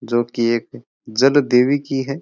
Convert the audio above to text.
जो की एक जल देवी की है।